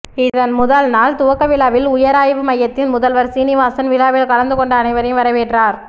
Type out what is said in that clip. இதன் முதல்நாள் துவக்கவிழாவில் உயராய்வு மையத்தின் முதல்வர் சீனிவாசன் விழாவில் கலந்துகொண்ட அனைவரையும் வரவேற்றார்